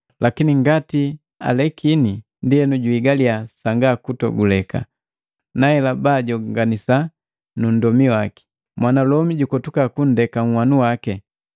lakini ngati naalekini, ndienu juhigaliya sanga kutoguleka, naela, baajonganisana nu nndomi waki. Mwanalomi jukotuka kundeka unhwanu waki.